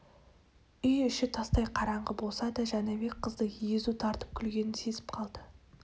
үй іші тастай қараңғы болса да жәнібек қыздың езу тартып күлгенін сезіп қалды